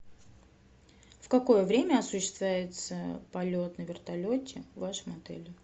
в какое время осуществляется полет на вертолете в вашем отеле